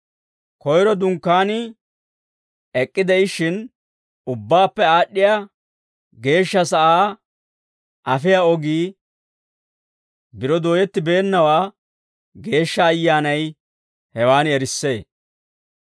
Koyro Dunkkaanii ek'k'ide'ishshin, ubbaappe aad'd'iyaa geeshsha sa'aa afiyaa ogii biro dooyettibeennawaa Geeshsha Ayyaanay hewan erissee.